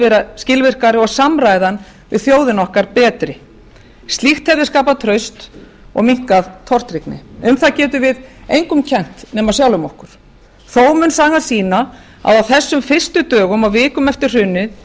vera skilvirkari og samræðan við þjóðina okkar betri slíkt hefði skapað traust og minnkað tortryggni um það getum við engum kennt nema sjálfum okkur þó mun sagan sýna að á þessum fyrstu dögum og vikum eftir hrunið